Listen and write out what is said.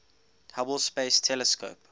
hubble space telescope